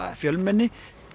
fjölmennis